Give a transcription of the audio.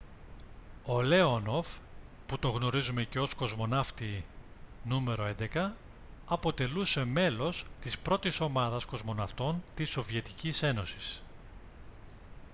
ο λέονοφ που τον γνωρίζουμε και ως «κοσμοναύτη νο.11» αποτελούσε μέλος της πρώτης ομάδας κοσμοναυτών της σοβιετικής ένωσης